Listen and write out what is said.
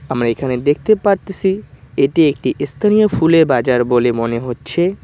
আমরা এখানে দেখতে পারতেসি এটি একটি ইস্থানীয় ফুলের বাজার বলে মনে হচ্ছে।